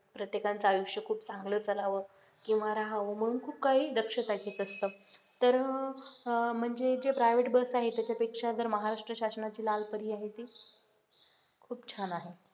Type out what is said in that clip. प्रत्येकांचा आयुष्य खूप चांगलं चालावं किंवा राहावं म्हणून खूप काही दक्षता घेत असत तर अह म्हणजे जे private बस आहे त्याच्यापेक्षा जर महाराष्ट्र शासनाची लाल परी आहे ती खूप छान आहे.